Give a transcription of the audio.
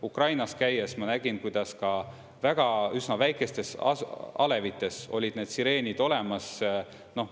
Ukrainas käies ma nägin, kuidas ka väga, üsna väikestes alevites olid need sireenid olemas.